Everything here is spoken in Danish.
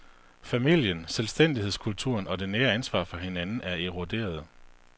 Familien, selvstændighedskulturen og det nære ansvar for hinanden, er eroderet.